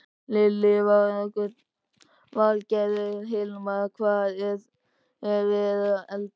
Lillý Valgerður: Hilmar, hvað er verið að elda?